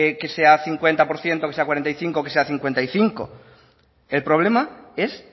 que sea el cincuenta por ciento que sea el cuarenta y cinco por ciento que sea cincuenta y cinco el problema es